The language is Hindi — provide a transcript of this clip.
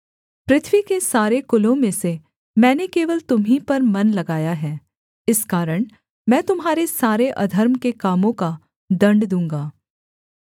पृथ्वी के सारे कुलों में से मैंने केवल तुम्हीं पर मन लगाया है इस कारण मैं तुम्हारे सारे अधर्म के कामों का दण्ड दूँगा